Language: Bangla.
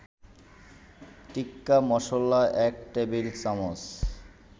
টিক্কা-মসলা ১ টেবিল-চামচ